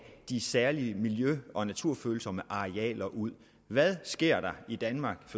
de særlig miljø og naturfølsomme arealer ud hvad sker der i danmark